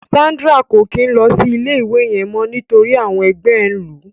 Sandra ko kin lọ sí ilé ìwé yẹn mọ nítorí àwọn ẹgbẹ ẹ n lu.